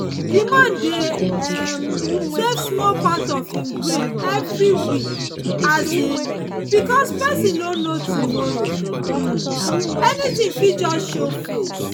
the man dey um save small part of him gain every week um because person no know tomorrow um anything fit just show face.